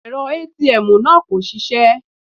Èrọ ATM náà kò ṣisẹ́.